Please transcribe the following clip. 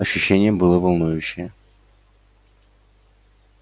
ощущение было волнующее